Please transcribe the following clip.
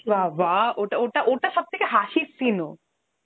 বাবাঃ ওটা ওটা ওটা সব থেকে হাসির scene ও